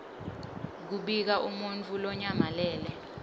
kubika umuntfu lonyamalele